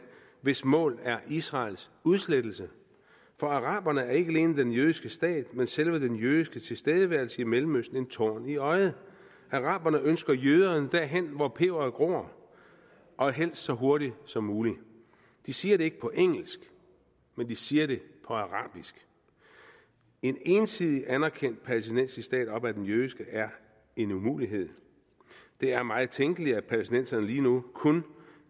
hvis mål er israels udslettelse for araberne er ikke alene den jødiske stat men selve den jødiske tilstedeværelse i mellemøsten en torn i øjet araberne ønsker jøderne derhen hvor peberet gror og helst så hurtigt som muligt de siger det ikke på engelsk men de siger det på arabisk en ensidigt anerkendt palæstinensisk stat op ad den jødiske er en umulighed det er meget tænkeligt at palæstinenserne lige nu kun